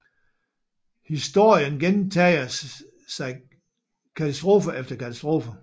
Historien gentager sig katastrofe efter katastrofe